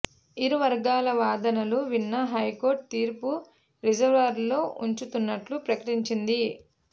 ఇరువర్గాల వాదనలు విన్న హైకోర్టు తీర్పు రిజర్వ్లో ఉంచుతున్నట్టు ప్రకటించింది